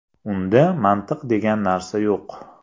Unda mantiq degan narsa yo‘q.